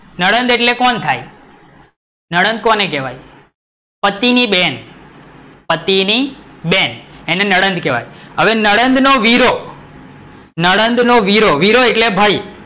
નણંદ એટલે કોણ થાય? નણંદ કોને કહેવાય? પતિ ની બેન, પતિ ની બેન, એને નણંદ કેવાય, હવે નણંદ નો વીરો નણંદ નો વીરો એટલે ભાઈ,